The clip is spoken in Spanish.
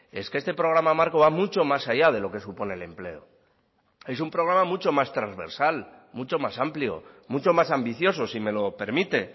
es que este programa marco va mucho más allá de lo que supone el empleo es un programa mucho más transversal mucho más amplio mucho más ambicioso si me lo permite